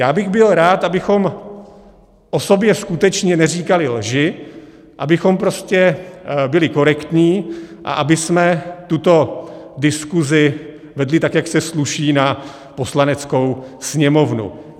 Já bych byl rád, abychom o sobě skutečně neříkali lži, abychom prostě byli korektní a abychom tuto diskusi vedli tak, jak se sluší na Poslaneckou sněmovnu.